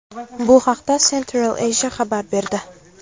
Bu haqda Central Asia xabar berdi .